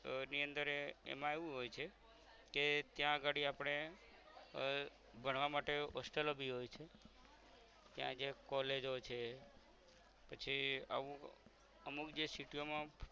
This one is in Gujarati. ની અંદર એ એમા એવું હોય છે કે ત્યાં અગાળી આપણે આહ ભણવા માટે hostel લો બી હોય છે ત્યાં જે college જો છે પછી આવું અમુક જે city યો માં